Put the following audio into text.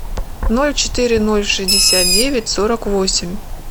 ноль четыре ноль шестьдесят девять сорок восемь